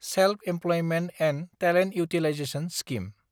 self-employment and talent utilization scheme